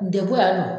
Degun ya nɔ